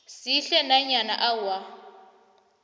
sihle nanyana awa